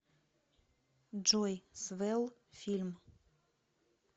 джой свэлл фильм